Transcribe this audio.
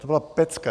To byla pecka.